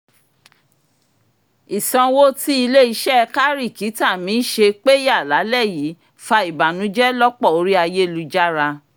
ìsanwó tí ilé-iṣẹ́ kárìkítà mi ṣe péyà lálẹ́ yìí fa ìbànújẹ lọ́pọ̀ orí ayélujára